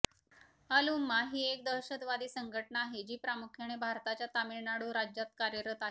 अल उम्मा ही एक दहशतवादी संघटना आहे जी प्रामुख्याने भारताच्या तामिळनाडू राज्यात कार्यरत आहे